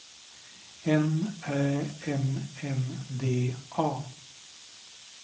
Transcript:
N Ä M N D A